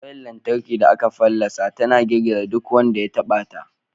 Wayar lantarki da aka fallasa tana girgiza duk wanda ya taɓa ta.